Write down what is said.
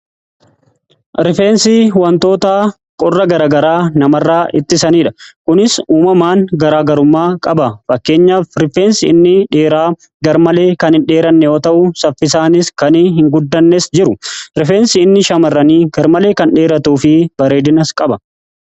Rifeensi wantoota qorra gara garaa namarraa ittisanidha. Kunis uumamaan garaa garummaa qaba. Fakkeenyaaf rifeensi inni dheeraa garmalee kan hin dheeranne yoo ta'u, saffisaanis kan hin guddannes jiru. Rifeensi inni shamarranii garmalee kan dheeratuu fi bareedinas qaba.